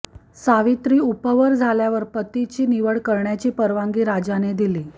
सावित्री उपवर झाल्यावर पतीची निवड करण्याची परवानगी राजाने दिली